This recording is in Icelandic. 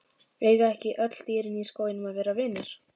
Eiga ekki öll dýrin í skóginum að vera vinir?